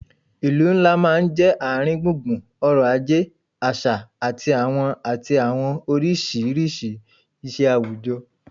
Ìlú ńlá máa ń jẹ́ ààrin gbùngbùn ọ̀rọ̀ ajé, àṣà àti àwọn àti àwọn oríṣiríṣi ìṣe àwùjọ